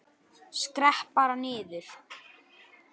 Skrepp bara niður.